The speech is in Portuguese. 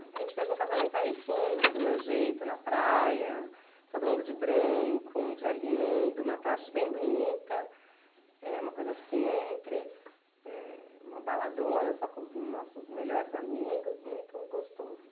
A gente fez um casamento aí sim, do meu jeito, na praia, todo mundo de branco, um dia lindo, uma tarde bem bonita, eh, uma coisa simples, eh, uma baladona só com os nossos melhores amigos, muito gostoso.